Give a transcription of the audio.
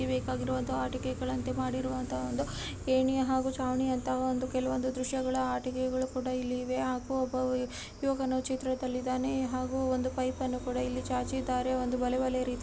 ಆಟಿಕೆಗಳಂತೆ ಮಾಡಿರುವಂತಹ ಒಂದು ಏಣಿ ಹಾಗು ಚಾವಣಿ ಅಂತಹ ಕೆಲವೊದು ದೃಶ್ಯಗಳ ಆಟಿಕೆಗಳು ಫೋಟೋ ಇಲ್ಲಿ ಇವೆ ಹಾಗು ಒಬ್ಬ ಯುವಕನು ಚಿತ್ರದಲ್ಲಿದ್ದಾನೆ ಹಾಗು ಒಂದು ಪೈಪ್ ಅನ್ನು ಕೂಡ ಚಾಚಿದ್ದಾರೆ ಒಂದು ಬಲೇ ಬಲೇ ರೀತಿ --